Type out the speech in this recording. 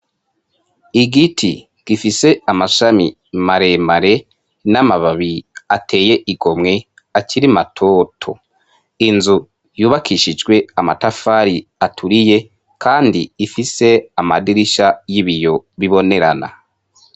Igiti gifise amashami maremare n'amababi ateye igomwe akiri matoto. Inzu yubakishijwe amatafari aturiye kandi ifise amadirisha y'ibiyo bibonerana.